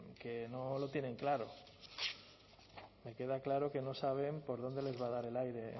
que no lo tienen claro me queda claro que no saben por dónde les va a dar el aire